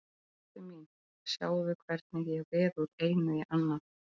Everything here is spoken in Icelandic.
Ástin mín, sjáðu hvernig ég veð úr einu í annað.